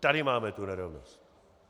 Tady máme tu nerovnost!